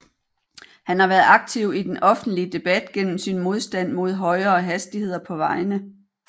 Han har været aktiv i den offentlige debat gennem sin modstand mod højere hastigheder på vejene